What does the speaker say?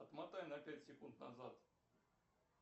отмотай на пять секунд назад